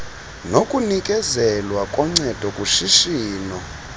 nokunikezelwa koncedo kushishino